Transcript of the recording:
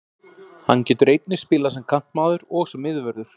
Hann getur einnig spilað sem kantmaður og sem miðvörður.